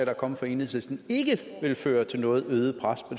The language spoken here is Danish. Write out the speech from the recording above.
er kommet fra enhedslisten vil føre til noget øget pres på